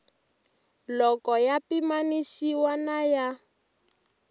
loko ya pimanisiwa na ya